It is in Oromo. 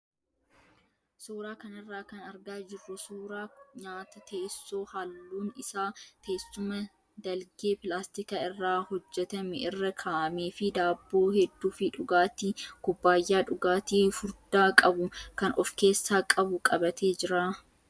Suuraa kanarraa kan argaa jirru suuraa nyaata teessoo halluun isaa teessuma dalgee pilaastika irraa hojjatame irra kaa'amee fi daabboo hedduu fi dhugaatii kubbaayyaa dhugaatii furdaa qabu kan of keessaa qabu qabatee jira.